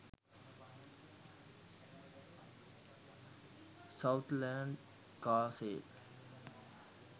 southland car sale